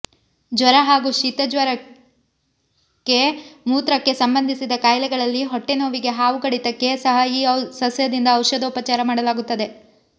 ಜ್ವರ ಹಾಗೂ ಶಿತಜ್ವರಕಕ್ಕೆ ಮೂತ್ರಕ್ಕೆ ಸಂಬಂದಿಸಿದ ಕಾಯಿಲೆಗಳಲ್ಲಿ ಹೊಟ್ಟೆನೋವಿಗೆ ಹಾವು ಕಡಿತಕ್ಕೂ ಸಹ ಈ ಸಸ್ಯದಿಂದ ಔಷದೋಪಚಾರ ಮಾಡಲಾಗುತ್ತದೆ